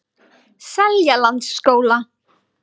Seljalandsskóla